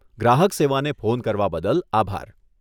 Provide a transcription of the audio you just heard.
ગ્રાહક સેવાને ફોન કરવા બદલ આભાર.